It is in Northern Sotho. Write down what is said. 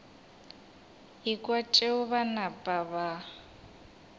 ekwa tšeo ba napa ba